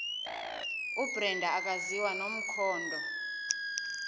ubrenda akaziwa nomkhondo